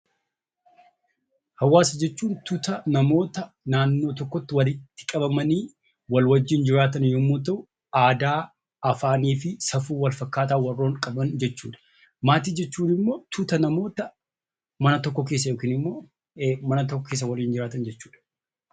Hawaasa jechuun tuuta namoota naannoo tokkotti walitti qabamanii wal wajjin jiraatan yemmuu ta'u, aadaa, safuu fi afaan wal fakkaataa waliin qaban jechuudha. Maatii jechuun immoo tuuta namoota mana tokko keessa waliin jiraatan jechuudha.